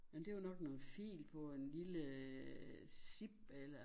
Nå men det var nok noget fil på en lille zip eller